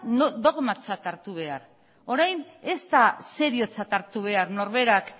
dogmatzat hartu behar orain ez da seriotzat hartu behar norberak